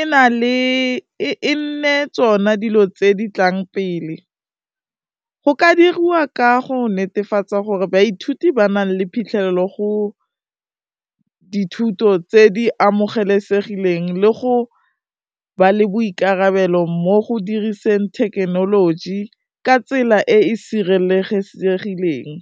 e nne tsona dilo tse di tlang pele, go ka diriwa ka go netefatsa gore baithuti ba nang le phitlhelelo go dithuto tse di amogelesegileng le go ba le boikarabelo mo go diriseng thekenoloji ka tsela e e sireletsegileng.